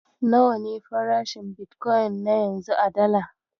Nawa ne farashin bitkoyin na yanzu a Dala?